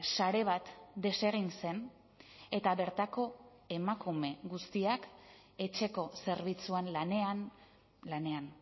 sare bat desegin zen eta bertako emakume guztiak etxeko zerbitzuan lanean lanean